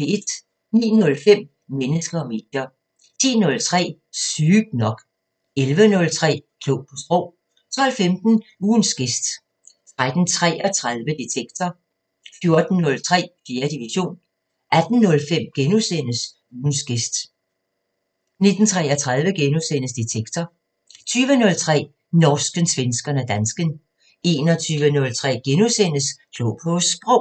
09:05: Mennesker og medier 10:03: Sygt nok 11:03: Klog på Sprog 12:15: Ugens gæst 13:33: Detektor 14:03: 4. division 18:05: Ugens gæst * 19:33: Detektor * 20:03: Norsken, svensken og dansken 21:03: Klog på Sprog *